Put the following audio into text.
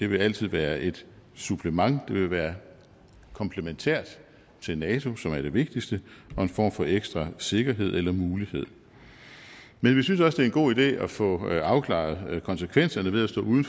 vil altid være et supplement det vil være komplementært til nato som er det vigtigste og en form for ekstra sikkerhed eller mulighed men vi synes også det er en god idé at få afklaret konsekvenserne ved at stå uden